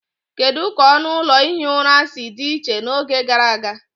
Kedu ka ọnụ ụlọ ihi ụra si dị iche n'oge gara aga